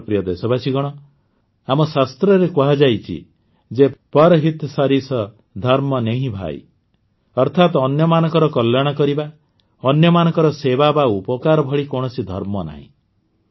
ମୋର ପ୍ରିୟ ଦେଶବାସୀଗଣ ଆମ ଶାସ୍ତ୍ରରେ କୁହାଯାଇଛି ଯେ ପର୍ ହିତ ସରିସ ଧର୍ମ ନେହିଁ ଭାଇ ଅର୍ଥାତ ଅନ୍ୟମାନଙ୍କର କଲ୍ୟାଣ କରିବା ଅନ୍ୟମାନଙ୍କର ସେବା ବା ଉପକାର ଭଳି କୌଣସି ଧର୍ମ ନାହିଁ